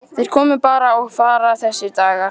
Þeir koma bara og fara þessir dagar.